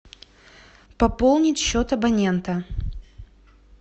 пополнить счет абонента